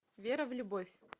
вера в любовь